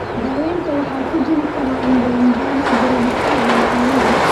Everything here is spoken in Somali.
Daawaynta waxa ku jiri kara indho-indhayn, garab istaag iyo qaliin.